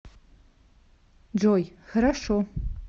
джой хорошо